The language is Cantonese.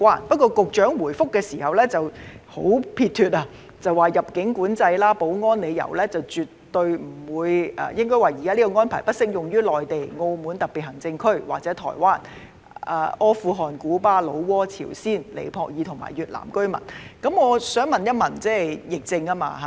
不過，局長的主體答覆十分撇脫，表示基於入境管制及保安理由，現時輸入家庭傭工的入境安排並不適用於內地、澳門特別行政區或台灣的中國居民，以及阿富汗、古巴、老撾、朝鮮、尼泊爾及越南的國民。